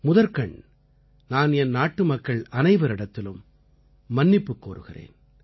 முதற்கண் நான் என் நாட்டுமக்கள் அனைவரிடத்திலும் மன்னிப்புக் கோருகிறேன்